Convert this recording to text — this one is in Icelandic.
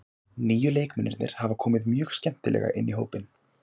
Nýju leikmennirnir hafa komið mjög skemmtilega inn í hópinn.